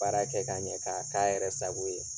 Baara kɛ k'a ɲɛ k'a k'a yɛrɛ sago ye.